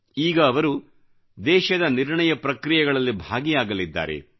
ಈಗ ಅವರು ದೇಶದ ನಿರ್ಣಯ ಪ್ರಕ್ರಿಯೆಗಳಲ್ಲಿ ಭಾಗಿಯಾಗಲಿದ್ದಾರೆ